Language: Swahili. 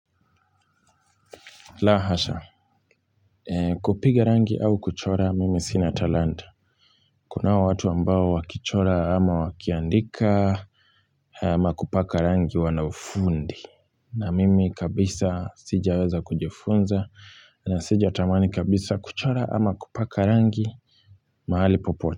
La hasha, kupiga rangi au kuchora, mimi sina talanta. Kunao watu ambao wakichora ama wakiandika ama kupaka rangi wana ufundi. Na mimi kabisa sijaweza kujifunza na sijatamani kabisa kuchora ama kupaka rangi mahali popote.